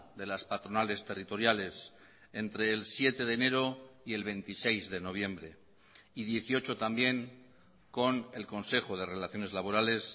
de las patronales territoriales entre el siete de enero y el veintiséis de noviembre y dieciocho también con el consejo de relaciones laborales